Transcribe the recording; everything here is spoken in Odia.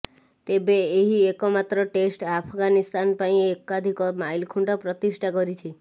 ତେବେ ଏହି ଏକମାତ୍ର ଟେଷ୍ଟ୍ ଆଫ୍ଗାନିସ୍ତାନ ପାଇଁ ଏକାଧିକ ମାଇଲଖୁଣ୍ଟ ପ୍ରତିଷ୍ଠା କରିଛି